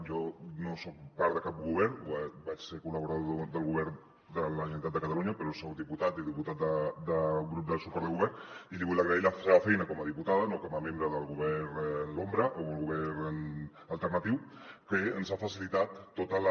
jo no soc part de cap govern vaig ser col·laborador del govern de la generalitat de catalunya però soc diputat i diputat del grup de suport del govern i li vull agrair la seva feina com a diputada no com a membre del govern en l’ombra o el govern alternatiu que ens ha facilitat tota la